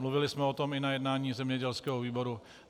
Mluvili jsme o tom i na jednání zemědělského výboru.